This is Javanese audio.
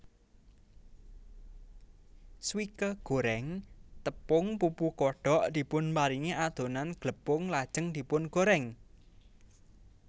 Swike goreng tepung pupu kodok dipunparingi adonan glepung lajeng dipungorèng